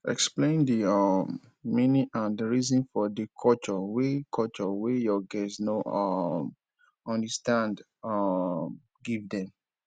explain di um meaning and reason for di culture wey culture wey your guest no um understand um give dem